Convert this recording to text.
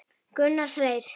Gunnar Freyr.